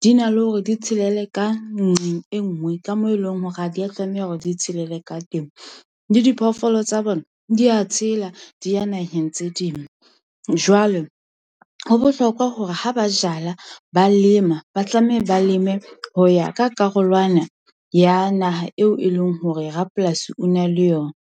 di na le hore di tshelele ka nqeng e nngwe ka moo e leng hore ha di a tlameha hore di tshelele ka teng. Le diphoofolo tsa bona di a tshela, di ya naheng tse ding. Jwale ho bohlokwa hore ha ba jala, ba lema, ba tlameha ba leme ho ya ka karolwana ya naha eo e leng hore rapolasi o na le yona.